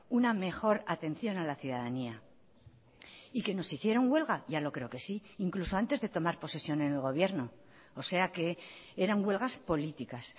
una mejor atención a la ciudadanía y que nos hicieron huelga ya lo creo que sí incluso antes de tomar posesión en el gobierno o sea que eran huelgas políticas